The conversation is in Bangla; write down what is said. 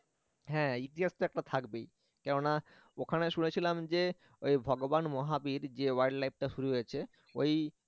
হ্যাঁ ইতিহাস তো একটা থাকবেই কেননা ওখানে শুনেছিলাম যে ওই ভগবান মহাবীর যে wild life টা শুরু হয়েছে ওই